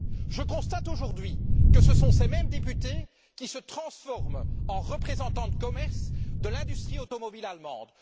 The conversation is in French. Je constate aujourd'hui que ce sont ces mêmes députés qui se transforment en représentants de commerce de l'industrie automobile allemande.